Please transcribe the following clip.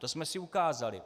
To jsme si ukázali.